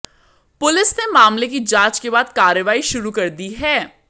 police ने मामले की जांच के बाद कार्रवाई शुरू कर दी है